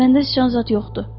Məndə sıçan zad yoxdu.